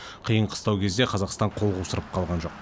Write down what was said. қиын қыстау кезде қазақстан қол қусырып қалған жоқ